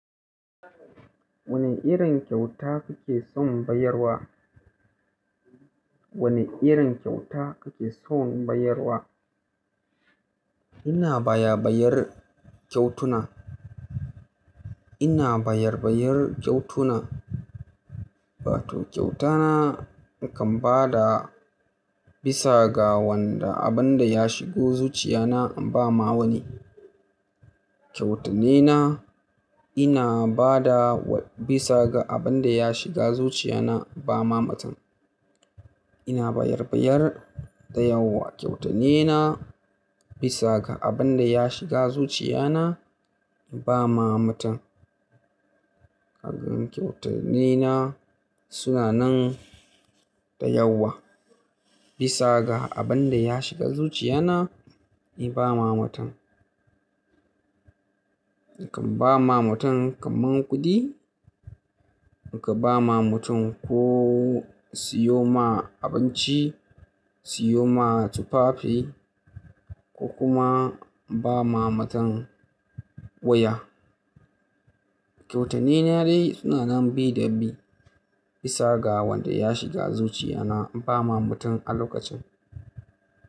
Wane irin kyauta kake son bayarwa? Wane irin kyauta kake son bayarwa? Ina baya bayar kyautuna. Ina bayar bayar kyautuna. Wato kyautana in kan ba da bisa ga wanda abin da ya shigo zuciyana in ba ma wani. Kyautattunena ina ba da bisa ga abin da ya shiga zuciyana in ba ma mutum. Ina bayar bayar da yawa kyautattunena bisa ga abin da ya shiga zuciyana in ba ma mutum. Ka ga kyautattunena suna nan da yawa bisa ga abin da ya shiga zuciyana in ba ma mutum. In kan ba ma mutum kaman kuɗi, in ka ba ma mutum ko siyo ma abinci, siyo ma tufafi ko kuma ba ma mutum waya. Kyautattunena dai suna nan bi da bi bisa ga wanda ya shiga zuciyana in ba ma mutum a lokacin.